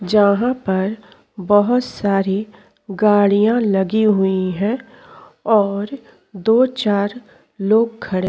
जहाँ पर बोहोत सारी गाडियाँ लगी हुईं हैं और दो चार लोग खड़े --